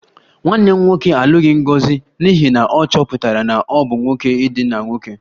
Nwanne m nwoke alụghị Ngozi n'ihi na ọ chọpụtara na ọ bụ nwoke idina nwoke